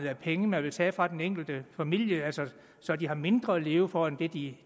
af penge man vil tage fra den enkelte familie så de har mindre at leve for end det de